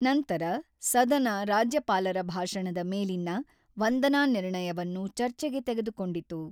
ನಂತರ ಸದನ ರಾಜ್ಯಪಾಲರ ಭಾಷಣದ ಮೇಲಿನ ವಂದನಾ ನಿರ್ಣಯವನ್ನು ಚರ್ಚೆಗೆ ತೆಗೆದುಕೊಂಡಿತು.